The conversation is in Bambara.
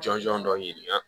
Jɔnjɔn dɔ ɲini ka